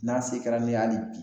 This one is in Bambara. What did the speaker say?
N'a se kɛra ne ye ali bi